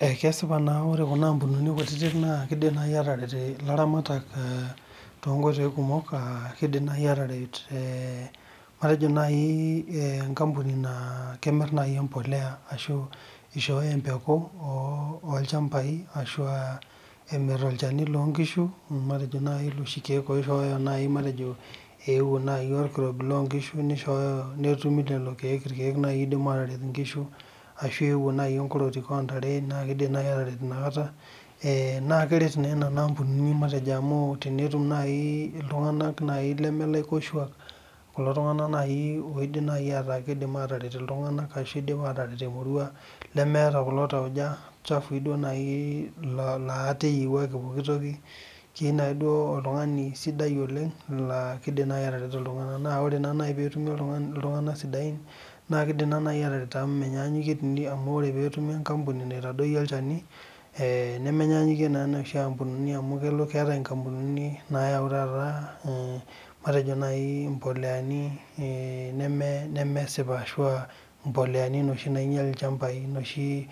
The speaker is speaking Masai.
Kesipa ore Kuna ambunini kutiti kidim naaji atareto elaramatak too nkoitoi kumok kidim naaji ataret matejo enkambuni namiri embolea ashu eishooyo embeku olchambai ashu emir olchani loo nkishu matejo ewuo orkirobi loo nkishu netumi lelo keek oidim ataret enkishu ashu ewuo enkototik oo ntare naa kidim naaji ataret ena kata naa kerat naa Nena ambunini amu tenetum naaji iltung'ana naijio leme laikoshuak loidimu ataret emurua leeta kulo tauja chafui keyieu oltung'ani sidai oidim atareto iltung'ana naa tenetumi naaji iltung'ana sidain naa kidim atareto amu ore pee etumi enkampuni naitadoyio olchani nemenyanyukie enoshi ambunini amu keetae enkampunini nayawu taata mboleani nemesioa ashu mboleani noshi nainyial ilchambai noshi